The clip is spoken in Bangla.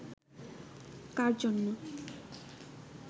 কার জন্য